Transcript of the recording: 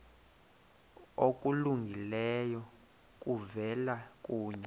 okulungileyo kuvela kuye